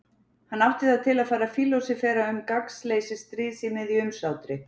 Hann átti það til að fara að fílósófera um gagnsleysi stríðs í miðju umsátri.